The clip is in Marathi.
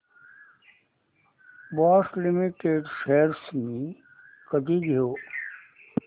बॉश लिमिटेड शेअर्स मी कधी घेऊ